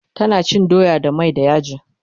tana cin doya da mai da yaji